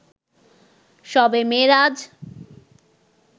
শবে মেরাজ